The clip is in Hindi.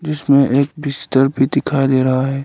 इसमें एक बिस्तर भी दिखा दे रहा है।